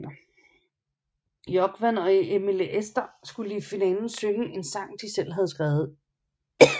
Jógvan og Emilie Esther skulle i finalen synge en sang de selv havde skrevet